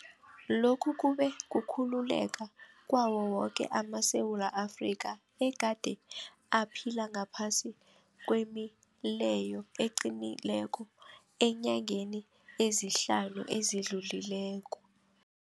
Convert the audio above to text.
Lokhu kube kukhululeka kwawo woke amaSewula Afrika egade aphila ngaphasi kwemileyo eqinileko eenyangeni ezihlanu ezidlulileko.